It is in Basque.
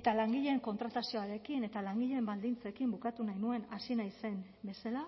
eta langileen kontratazioarekin eta langileen baldintzekin bukatu nahi nuen hasi naizen bezala